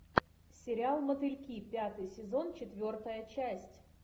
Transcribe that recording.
сериал мотыльки пятый сезон четвертая часть